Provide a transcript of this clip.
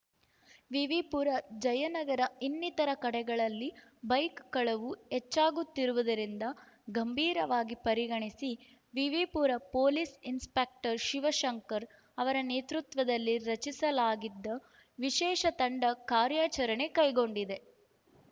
ವಿವಿಪುರ ಜಯನಗರ ಇನ್ನಿತರ ಕಡೆಗಳಲ್ಲಿ ಬೈಕ್ ಕಳವು ಹೆಚ್ಚಾಗುತ್ತಿರುವುದರಿಂದ ಗಂಭೀರವಾಗಿ ಪರಿಗಣಿಸಿ ವಿವಿಪುರಂ ಪೊಲೀಸ್ ಇನ್ಸ್‌ಪೆಕ್ಟರ್ ಶಿವಶಂಕರ್ ಅವರ ನೇತೃತ್ವದಲ್ಲಿ ರಚಿಸಲಾಗಿದ್ದ ವಿಶೇಷ ತಂಡ ಕಾರ್ಯಾಚರಣೆ ಕೈಗೊಂಡಿದೆ